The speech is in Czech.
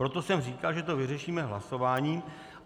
Proto jsem říkal, že to vyřešíme hlasováním.